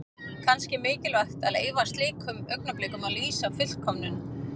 Kannski er mikilvægt að leyfa slíkum augnablikum að lýsa fullkomnun.